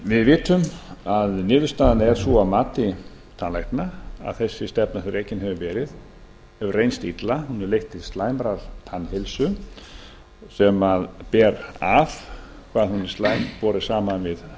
við vitum að niðurstaðan er sú að mati tannlækna að sú stefna sem rekin hefur verið hefur reynst illa hún hefur leitt til mjög slæmrar tannheilsu borið saman við